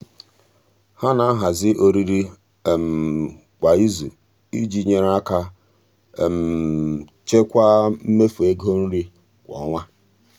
ha na-ahazi oriri kwa izu iji nyere aka chekwaa mmefu ego nri kwa ọnwa.